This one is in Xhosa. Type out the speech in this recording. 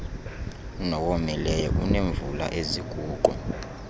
nowomileyo oneemvula eziguqu